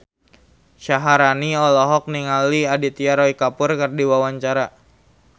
Syaharani olohok ningali Aditya Roy Kapoor keur diwawancara